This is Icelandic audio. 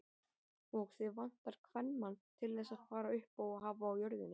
Og þig vantar kvenmann til þess að fara uppá og hafa á jörðinni.